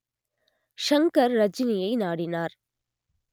ஷங்கர் ரஜினியை நாடினார்